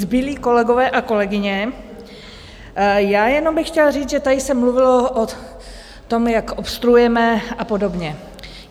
Zbylí kolegové a kolegyně, já jenom bych chtěla říct, že tady se mluvilo o tom, jak obstruujeme a podobně.